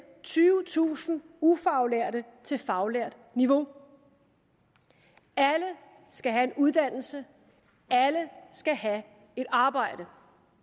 tyvetusind ufaglærte til faglært niveau alle skal have en uddannelse alle skal have et arbejde